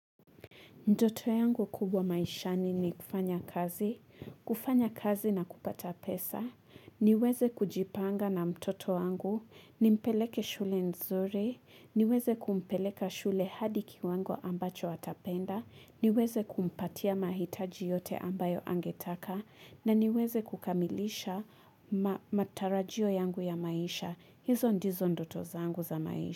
Ndoto yangu kubwa maishani ni kufanya kazi, kufanya kazi na kupata pesa, niweze kujipanga na mtoto yangu, nimpeleke shule nzuri, niweze kumpeleka shule hadi kiwango ambacho watapenda, niweze kumpatia mahitaji yote ambayo angetaka, na niweze kukamilisha matarajio yangu ya maisha, hizo ndizo ndoto zangu za maisha.